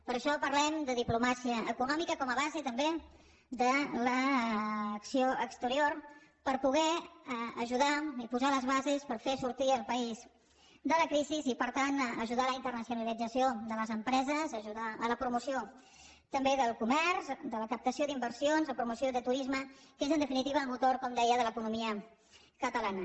per això parlem de diplomàcia econòmica com a base també de l’acció exterior per poder ajudar i posar les bases per fer sortir el país de la crisi i per tant ajudar a la internacionalització de les empreses ajudar a la promoció també del comerç de la captació d’inversions de la promoció de turisme que és en definitiva el motor com deia de l’economia catalana